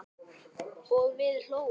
og við hlógum.